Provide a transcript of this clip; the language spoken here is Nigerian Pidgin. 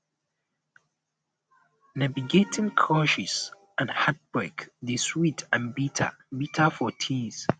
navigating crushes and heartbreak dey sweet and bitter bitter for teens